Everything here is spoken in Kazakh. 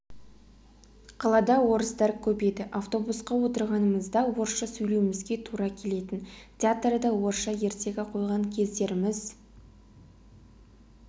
қалада орыстар көп еді автобусқа отырғанымызда орысша сөйлеуімізге тура келетін театрда орысша ертегі қойған кездеріміз